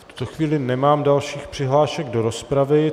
V tuto chvíli nemám dalších přihlášek do rozpravy.